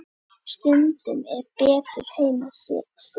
Stundum er betur heima setið.